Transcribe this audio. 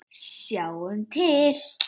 Sjáum til.